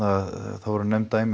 það voru nefnd dæmi